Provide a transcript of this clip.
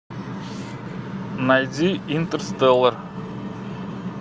найди интерстеллар